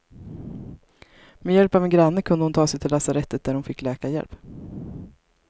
Med hjälp av en granne kunde hon ta sig till lasarettet, där hon fick läkarhjälp.